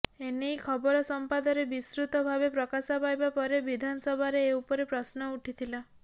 ଏ ନେଇ ଖବର ସମ୍ବାଦରେ ବିସ୍ତୃତ ଭାବେ ପ୍ରକାଶ ପାଇବା ପରେ ବିଧାନସଭାରେ ଏ ଉପରେ ପ୍ରଶ୍ନ ଉଠିଥିଲା